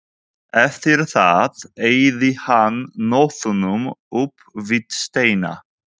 Eftir það eyddi hann nóttunum upp við steina.